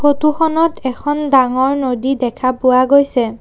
Photo খনত এখন ডাঙৰ নদী দেখা গৈছে।